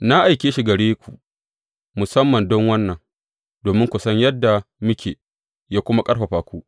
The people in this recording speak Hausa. Na aike shi gare ku musamman don wannan, domin ku san yadda muke, yă kuma ƙarfafa ku.